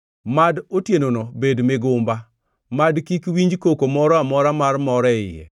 Mad otienono bed migumba; mad kik winj koko moro amora mar mor e iye.